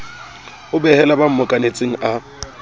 a behela ba mmokanetseng a